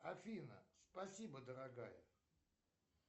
афина спасибо дорогая